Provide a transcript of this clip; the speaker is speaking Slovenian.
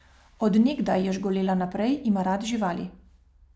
Od nekdaj, je žgolela naprej, ima rad živali.